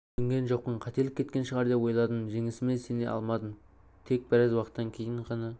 түсінген жоқпын қателік кеткен шығар деп ойладым жеңісіме сене алмадым тек біраз уақыттан кейін ғана